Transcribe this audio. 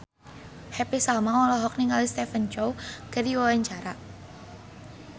Happy Salma olohok ningali Stephen Chow keur diwawancara